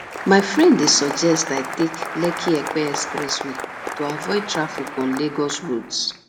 my friend dey suggest i take lekkiepe expressway to avoid traffic on lagos roads